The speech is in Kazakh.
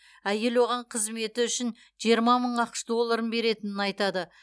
әйел оған қызметі үшін жиырма мың ақш долларын беретінін айтады